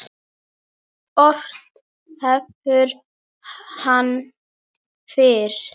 Ort hefur hann fyrr.